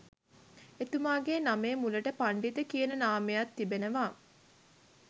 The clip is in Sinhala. එතුමාගේ නමේ මුලට පණ්ඩිත කියන නාමයත් තිබෙනවා